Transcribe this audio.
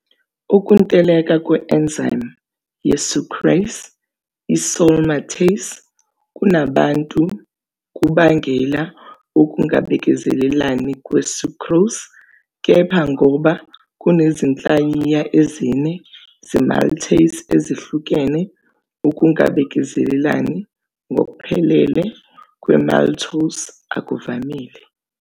Ukuntuleka kwe-enzyme ye-sucrase-isomaltase kubantu kubangela ukungabekezelelani kwe-sucrose, kepha ngoba kunezinhlayiya ezine ze-maltase ezihlukene, ukungabekezelelani ngokuphelele kwe-maltose akuvamile.